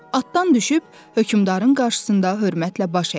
Atdan düşüb hökmdarın qarşısında hörmətlə baş əydi.